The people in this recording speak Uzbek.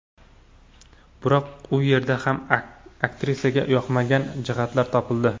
Biroq u yerda ham aktrisaga yoqmagan jihatlar topildi.